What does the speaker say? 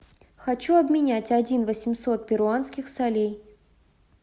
хочу обменять один восемьсот перуанских солей